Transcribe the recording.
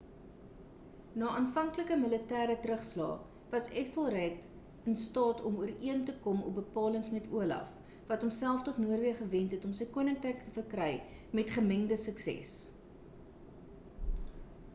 na aanvanklike militêre terugslae was ethelred in staat om ooreen te kom op bepalings met olaf wat homself tot noorweë gewend het om sy koninkryk te verkry met gemengde sukses